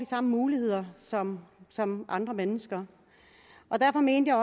samme muligheder som som andre mennesker og derfor mente